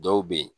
Dɔw be yen